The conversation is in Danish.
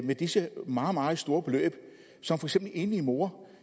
med disse meget meget store beløb som en enlig mor